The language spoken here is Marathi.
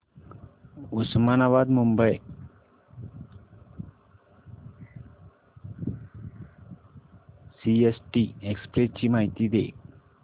उस्मानाबाद मुंबई सीएसटी एक्सप्रेस ची माहिती दे